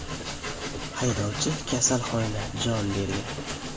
Haydovchi kasalxonada jon bergan.